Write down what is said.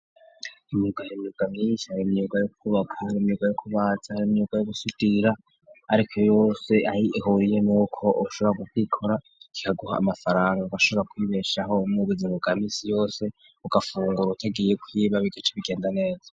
Imyuka hinuka myinshi ar imyuga yo kubakair imyuga yo kubatsa ari imyuga yo gusitira ariko yose ayi ihuriye n'uko shobora gubwikora kikaguha amafaranga bashobora kwibeshaho mubuzingo ga misi yose ugafunguro utagiye kwiba bigece bigenda neza.